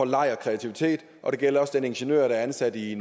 leg og kreativitet det gælder også den ingeniør der er ansat i